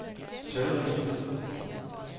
talrige